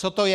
Co to je?